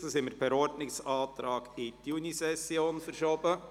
Dieses haben wir per Ordnungsantrag in die Junisession verschoben.